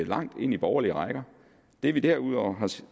langt ind i borgerlige rækker det vi derudover har